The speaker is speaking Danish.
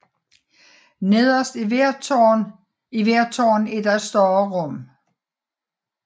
Nederst i hvert tårn er der et større rum